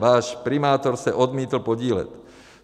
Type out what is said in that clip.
Váš primátor se odmítl podílet.